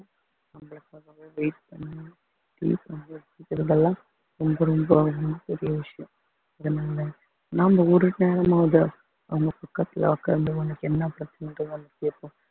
உங்களுக்காகவே wait பண்ணி ரொம்ப ரொம்ப ரொம்ப பெரிய விசியம் அதனால நாம ஒரு நேரமாவது அவங்க பக்கத்துல உட்கார்ந்து உனக்கு என்ன பிரச்சனைன்றதை வந்து கேட்போம்